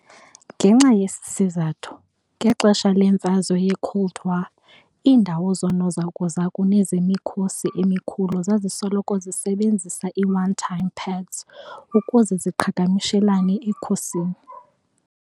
Ngenxa yesi sizathu, ngexesha lemfazwe ye-Cold War, iindawo zoonozakuzaku nezemikhosi emikhulu zazisoloko zisebenzisa i-one-time pads ukuze ziqhagamshelane ekhusini